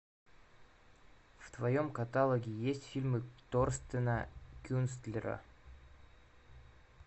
в твоем каталоге есть фильмы торстена кюнстлера